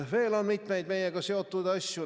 Veel on mitmeid meiega seotud asju.